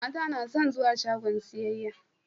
mata nason guwa shagon siyayya